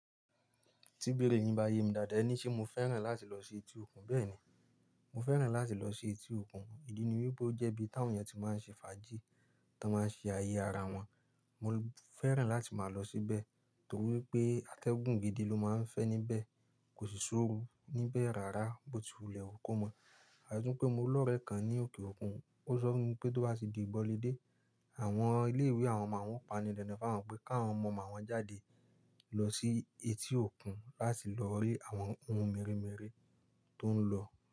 Tí ibèrè nígbà yẹn ni dàda ẹ ní ṣe mo fẹ́ràn láti lọ sí etí òkun. Bẹ́ẹ̀ni, mo fẹ́ràn láti lọ sí etí òkun. Ídí ni wípé ó jẹ́ ibi táwọn ènìyàn tí máa ń ṣe fàájì, tí wọ́n máa ń ṣe ayé ara wọn. Mo fẹ́ràn láti máa lọ síbẹ̀ torí pé atẹ́gùn gidi ló máa ń fẹ́ níbẹ̀, kò sì ṣóòru níbẹ̀ rárá bó ti wùlẹ̀ ó kó mọ́. Àtii pé mo lọ́rẹẹ́ kan ní òkè òkun, ó sọ fún mi pé tó bá sì di ìbọ̀lédè, àwọn ilé-ìwé àwọn màwón pani dandan fún wọn pé kí àwọn ọmọ màwọn jáde lọ sí etí òkun láti lọ rí àwọn ohun mèremère tó ń lọ.